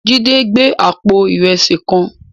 Jide n gbé àpó irèsí kán